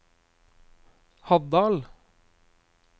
Haddal